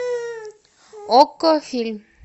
окко фильм